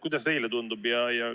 Kuidas teile tundub?